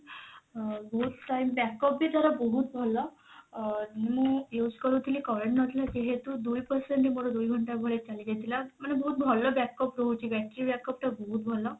ଅ ବହୁତ time backup ବି ତାର ବହୁତ ଭଲ ଅ ମୁଁ use କରୁଥିଲି current ନଥିଲା ଯେହେତୁ ଦୁଇ percent ହିଁ ମୋର ଦୁଇ ଘଣ୍ଟା ଭଳିଆ ଚାଲି ଯାଇଥିଲା ମାନେ ବହୁତ ଭଲ backup ଦଉଛି battery backup ଟା ବହୁତ ଭଲ